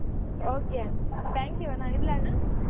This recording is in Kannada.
Okay ಅಣ್ಣಾ thank you ಅಣ್ಣಾ ಇಡ್ಲಾ ಅಣ್ಣಾ.